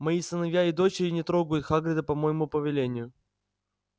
мои сыновья и дочери не трогают хагрида по моему повелению